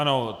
Ano.